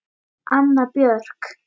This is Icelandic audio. Anna Björk.